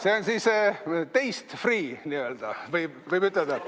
See on siis n-ö taste free, võib ütelda.